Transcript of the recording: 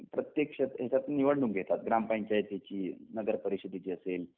प्रत्येक क्षेत्रियात निवडणूक घेतात ग्रामपंचायतीची, नगर परिषधेची असेल